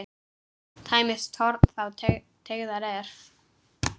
Tæmist horn þá teygað er.